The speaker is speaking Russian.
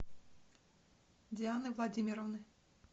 дианы владимировны